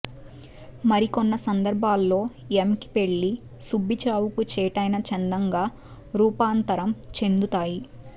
మరికొన్న సందర్బాల్లో ఎంకి పెళ్లి సుబ్బి చావుకు చేటైన చందంగా రూపాంతరం చెందుతాయి